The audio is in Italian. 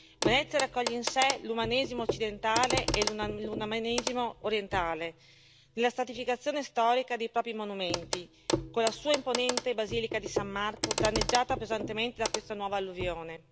Venezia raccoglie in sé l'umanesimo occidentale e l'umanesimo orientale, la stratificazione storica dei propri monumenti, con la sua imponente Basilica di San Marco, danneggiata pesantemente da questa nuova alluvione.